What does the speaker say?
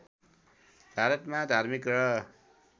भारतमा धार्मिक र